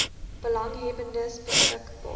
belanghebbendes beskik baar